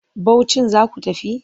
Bauchin za ku tafi?